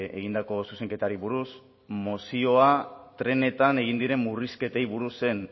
egindako zuzenketari buruz mozioa trenetan egin diren murrizketei buruz zen